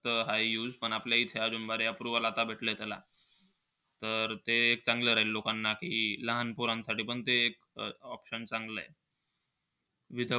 ता हाय use पण आपल्याइथे बरे approval भेटले त्याला. तर ते चांगलं राहील लोकांना, की लहान पोरांसाठी पण ते एक option चांगलंय. With,